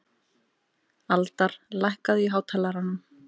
Aldar, lækkaðu í hátalaranum.